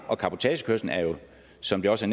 og cabotagekørslen er jo som det også